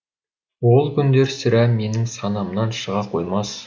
ол күндер сірә менің санамнан шыға қоймас